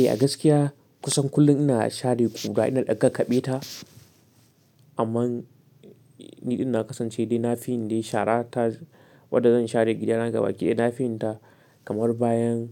Eh, a gaskiya kusan kullum ina share ƙura, ina ɗa kakaɓe ta amma ni ina kasance dai na fi yin dai shara ta, wanda zan share gidana gaba ɗaya ina fi yin ta kamar bayan